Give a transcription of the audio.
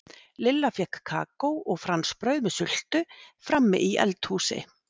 Lilla fékk kakó og franskbrauð með sultu frammi í eld- húsi.